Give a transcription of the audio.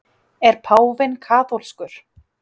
Er páfinn kaþólskur?